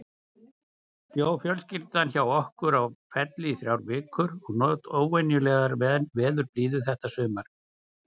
Bjó fjölskyldan hjá okkur á Felli í þrjár vikur og naut óvenjulegrar veðurblíðu þetta sumar.